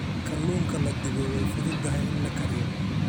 Kalluunka la dubay way fududahay in la kariyo.